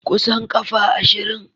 Kusan kafa ashirin.